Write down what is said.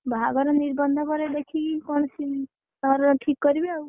ବାହାଘର, ନିର୍ବନ୍ଧ ପରେ ଦେଖିକି କଣ ଘର ଠିକ୍ କରିବେ ଆଉ,